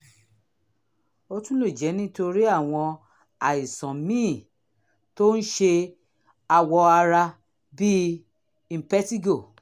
ó tún lè jẹ́ nítorí àwọn àìsàn míì tó ń ṣe awọ ara bíi impetigo